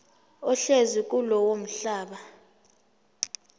ohlezi kulowo mhlaba